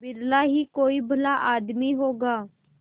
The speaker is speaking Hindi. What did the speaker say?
बिरला ही कोई भला आदमी होगा